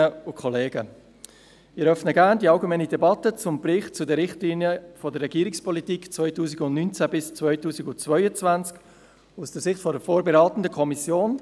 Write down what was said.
Ich eröffne gerne die allgemeine Debatte zum Bericht zu den Richtlinien der Regierungspolitik 2019–2022 aus der Sicht der vorberatenden Kommission.